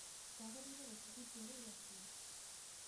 Twagĩrĩirũo gũtua itua rĩu atĩa?